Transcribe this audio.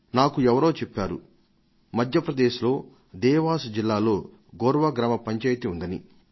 నాకు ఎవరో చెప్పారు మధ్య ప్రదేశ్లోని దేవాస్ జిల్లాలో గోర్ వా గ్రామ పంచాయతీ ఉందని